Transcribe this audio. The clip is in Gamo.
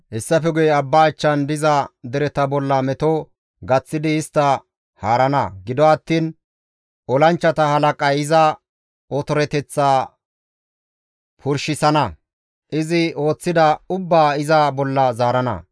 Hessafe guye abba achchan diza dereta bolla meto gaththidi istta haarana; gido attiin olanchchata halaqay iza otoreteththaa purshisana; izi ooththida ubbaa iza bolla zaarana.